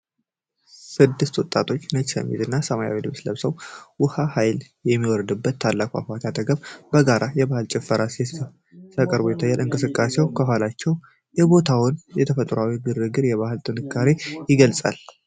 ስድስት ወጣቶች ነጭ ሸሚዝ እና ሰማያዊ ልብስ ለብሰው፣ ውሃው በኃይል በሚወርድበት ታላቅ ፏፏቴ አጠገብ በጋራ የባህል ጭፈራ ሲያቀርቡ ይታያሉ። የእንቅስቃሴያቸው ኅብረትና የቦታው ተፈጥሯዊ ግርማ የባህል ጥንካሬን ይገልጻል።